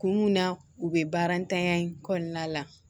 Kun mun na u be baara ntanya in kɔnɔna la